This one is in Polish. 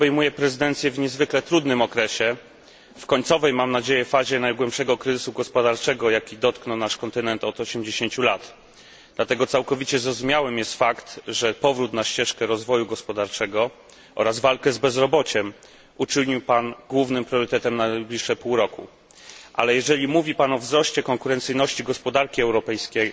Panie przewodniczący, panie premierze! Pański kraj obejmuje prezydencję w niezwykle trudnym okresie w końcowej, mam nadzieję, fazie najgłębszego kryzysu gospodarczego, jaki dotknął nasz kontynent od osiemdziesięciu lat. Dlatego całkiem zrozumiały jest fakt, że powrót na ścieżkę rozwoju gospodarczego oraz walkę z bezrobociem uczynił pan głównym priorytetem na najbliższe pół roku, ale jeżeli mówi pan o wzroście konkurencyjności gospodarki europejskiej,